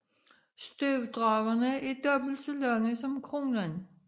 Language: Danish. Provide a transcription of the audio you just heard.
Støvdragerne er dobbelt så lange som kronen